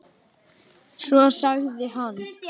Svo sagði hann